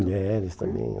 Mulheres também.